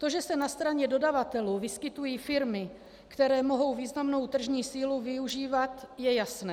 To, že se na straně dodavatelů vyskytují firmy, které mohou významnou tržní sílu využívat, je jasné.